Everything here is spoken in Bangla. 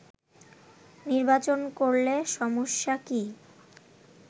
নির্বাচন করলে সমস্যা কি